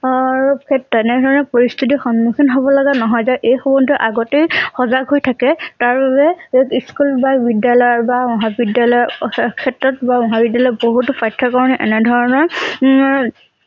অৰতেনেধৰণৰ পৰিস্থিতি সন্মুখীন হব লগা নহয় যে এই সম্বন্ধে আগতেই সজাগ হৈ থাকে তাৰ বাবে এই স্কুল বা বিদ্যালয়ৰ বা মহাবিদ্যালয়ৰ অশেষ ক্ষেত্ৰত বা মহাবিদ্যালয়ৰ বহুতো পাঠ্যক্ৰমত এনে ধৰণৰঅৰ